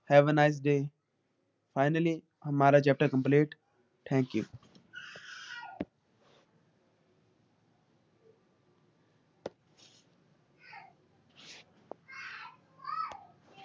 Hey a nice day. Finally ਹਮਾਰਾ chapter complete. Thank you